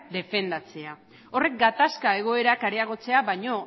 defendatzea horrek gatazka egoerak areagotzea baino